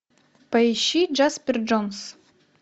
поищи джаспер джонс